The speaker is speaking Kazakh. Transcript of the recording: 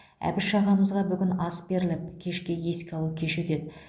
әбіш ағамызға бүгін ас беріліп кешке еске алу кеші өтеді